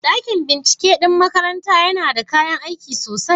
Dakin binciken ɗin makarantar yana da kayan aiki sosai?